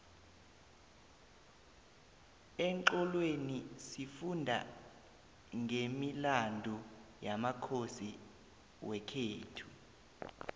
exholweni sifunda nqemilandu yamakhosi wekhethu